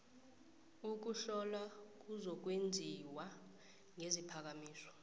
ukuhlola kuzokwenziwa ngesiphakamiso